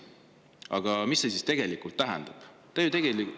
Aga mida see tegelikult tähendab?